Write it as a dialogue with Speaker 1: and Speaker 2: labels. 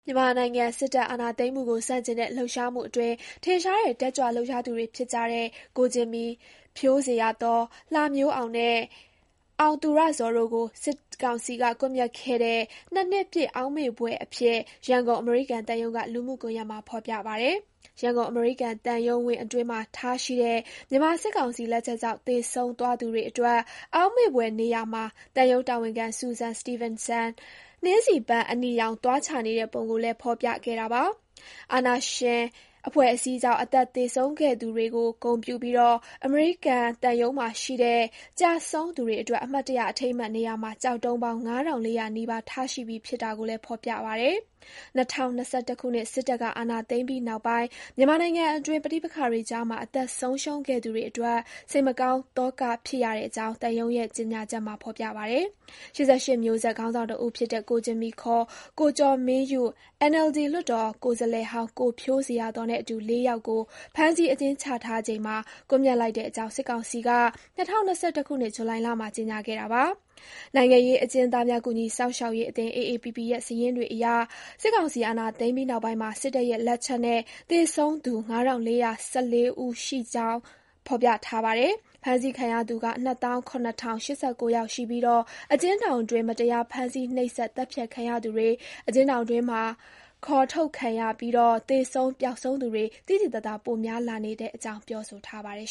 Speaker 1: မြန်မာနိုင်ငံ စစ်တပ်အာဏာသိမ်းမှုကို ဆန့်ကျင်တဲ့ လှုပ်ရှားမှုအတွင်း ထင်ရှားတဲ့ တက်ကြွလှုပ်ရှားသူတွေ ဖြစ်ကြတဲ့ ကိုဂျင်မီ၊ ဖြိုးဇေယျာသော်၊ လှမျိုးအောင်နှင့် အောင်သူရဇော်တို့ကို စစ်ကောင်စီက ကွပ်မျက်ခဲ့တဲ့ ၂ နှစ်ပြည့် အောက်မေ့ဖွယ်အဖြစ် ရန်ကုန် အမေရိကန်သံရုံးက လူမှုကွန်ယက်မှာ ဖေါ်ပြပါတယ်။ ရန်ကုန် အမေရိကန်သံရုံးဝင်းအတွင်းမှာ ထားရှိတဲ့ မြန်မာစစ်ကောင်စီလက်ချက်ကြောင့် သေဆုံးသွားသူတွေအတွက် အောက်မေ့ဖွယ်နေရာမှာ သံရုံးတာဝန်ခံ Susan Stevenson နှင်းဆီပန်းအနီရောင် သွားချနေတဲ့ ပုံကိုလည်း ဖော်ပြခဲ့တာပါ။ အာဏာရှင် အဖွဲ့အစည်းကြောင့် အသက်သေဆုံးခဲ့သူတွေကို ဂုဏ်ပြုပြီး အမေရိကန်သံရုံးမှာရှိတဲ့ ကျဆုံးသူတွေအတွက် အမှတ်တရ အထိမ်းအမှတ်နေရာမှာ ကျောက်တုံးပေါင်း ၅,၄၀၀ နီးပါး ထားရှိပြီး ဖြစ်တာကိုလည်း ဖေါ်ပြပါတယ်။ ၂၀၂၁ ခုနှစ် စစ်တပ်က အာဏာသိမ်းပြီးနောက်ပိုင်း မြန်မာနိုင်ငံအတွင်း ပဋိပက္ခတွေကြားမှာ အသက်ဆုံးရှုံးခဲ့သူတွေအတွက် စိတ်မကောင်း သောကဖြစ်ရတဲ့အကြောင်း သံရုံးရဲ့ ကြေညာချက်မှာ ဖေါ်ပြပါတယ်။ ၈၈ မျိုးဆက် ခေါင်းဆောင်တဦးဖြစ်တဲ့ ကိုဂျင်မီ ခေါ် ကိုကျော်မင်းယု၊ NLD လွှတ်တော်ကိုယ်စားလှယ်ဟောင်း ကိုဖြိုးဇေယျာသော်နဲ့အတူ လေးယောက်ကို ဖမ်းဆီးအကျဉ်းချထားချိန်မှာ ကွပ်မျက်လိုက်တဲ့အကြောင်း စစ်ကောင်စီက ၂၀၂၁ ခုနှစ် ဇူလိုင်လမှာ ကြေညာခဲ့တာပါ။ နိုင်ငံရေးအကျဉ်းသားများ ကူညီစောင့်ရှောက်ရေးအသင်း (AAPP) ရဲ့ စာရင်းတွေအရ စစ်ကောင်စီ အာဏာသိမ်းပြီးနောက်ပိုင်းမှာ စစ်တပ်ရဲ့ လက်ချက်နဲ့ သေဆုံးခဲ့သူ ၅၄၁၄ ယောက်ရှိတဲ့အကြောင်း ဖေါ်ပြပါတယ်။ ဖမ်းဆီးခံရသူ ၂၇၀၈၉ ယောက်ရှိပြီး အကျဉ်းထောင်တွင်း မတရား ဖမ်းဆီးနှိပ်စက် သတ်ဖြတ်ခံရသူတွေ၊ အကျဉ်းထောင်တွင်းက ခေါ်ထုတ်ခံရပြီး သေဆုံး ပျောက်ဆုံးသူတွေ သိသိသာသာ ပိုများလာနေတဲ့အကြောင်း ပြောဆိုထားပါတယ်